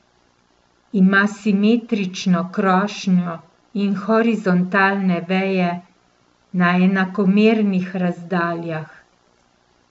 Ima simetrično krošnjo in horizontalne veje na enakomernih razdaljah.